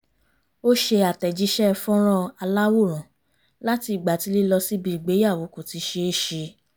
ó ṣe àtẹ̀jíṣẹ́ fọ́nrán aláwòrán láti ìgbà tí lílọ síbi ìgbéyàwó kò ti ṣe é ṣe